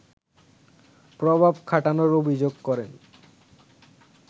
প্রভাব খাটানোর অভিযোগ করেন